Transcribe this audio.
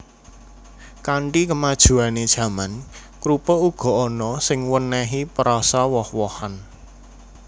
Kanthi kemajuané jaman krupuk uga ana sing wènèhi perasa woh wohan